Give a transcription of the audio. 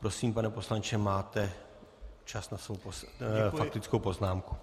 Prosím, pane poslanče, máte čas na svou faktickou poznámku.